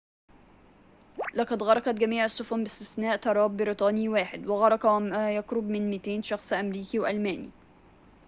لقد غرقت جميع السفن باستثناء طراد بريطاني واحد وغرق وما يقرب من 200 شخص أمريكي وألماني